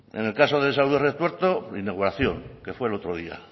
en el caso de salud de retuerto inauguración que fue el otro día